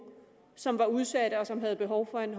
som var udsatte og som havde behov for en